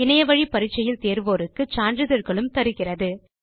இணையத்தில் பரிட்சை எழுதி தேர்வோருக்கு சான்றிதழ்களும் தருகிறது